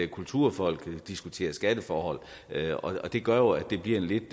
kulturfolk diskuterer skatteforhold og det gør jo at det bliver en lidt